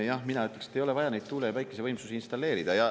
Jah, mina ütleks, et ei ole vaja neid tuule- ja päikesevõimsusi installeerida.